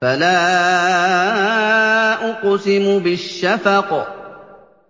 فَلَا أُقْسِمُ بِالشَّفَقِ